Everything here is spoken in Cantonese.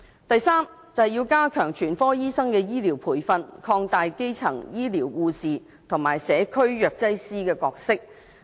第三，加強全科醫生的醫療培訓，擴大基層醫療護士及社區藥劑師的角色。